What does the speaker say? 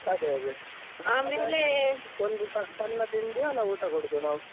ಅದೇ ಅದೇ. ಒಂದು ಸಣ್ಣ ತಿಂಡಿಯ ಅಲ್ಲ ಊಟ ಕೊಡುದ ನಾವು.